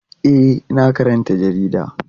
E, ina karanta jarida.